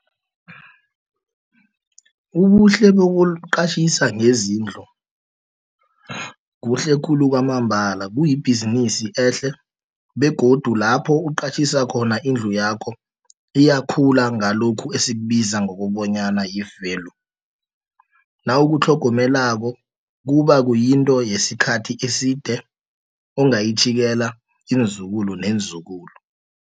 Ubuhle bokuqatjhisa ngezindlu, kuhle khulu kwamambala, kuyibhizinisi ehle, begodu lapho uqatjhisa khona indlu yakho, iyakhula ngalokhu esikubiza ngokobonyana yi-value, nawukutlhogomelako kuba kuyinto yesikhathi eside, ungayitjhiyela iinzukulu neenzukulu.